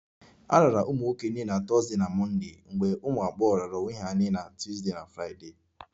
A raara ụmụ nwoke nye na Thursday na Mọnde mgbe ụmụ agbọghọ raara onwe ha nye na Tuesday na Friday